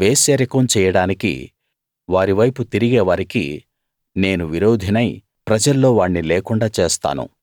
వేశ్యరికం చెయ్యడానికి వారివైపు తిరిగే వారికి నేను విరోధినై ప్రజల్లో వాణ్ణి లేకుండా చేస్తాను